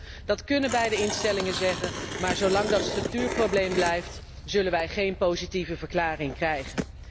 Maar goed, dat kunnen beide instellingen zeggen, maar zolang dat structuurprobleem blijft, zullen wij geen positieve verklaring krijgen.